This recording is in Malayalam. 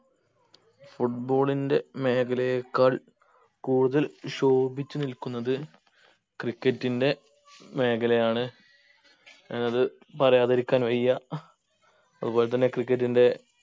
football ന്റെ മേഖലയെക്കാൾ കൂടുതൽ ശോഭിച്ച് നിൽക്കുന്നത് cricket ന്റെ മേഖലയാണ് ഏർ അത് പറയാതിരിക്കാൻ വയ്യ അതുപോലെ തന്നെ cricket ന്റെ